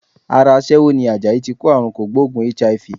Ara aṣẹ́wó ni Àjàyí tí kó àrunkògbóògùn HIV.